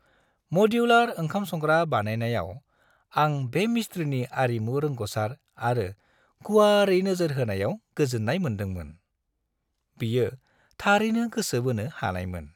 मडुलार ओंखाम-संग्रा बानायनायाव आं बे मिस्थ्रिनि आरिमु रोंग'सार आरो गुवारै नोजोर होनायाव गोजोन्नाय मोन्दोंमोन। बियो थारैनो गोसो बोनो हानायमोन।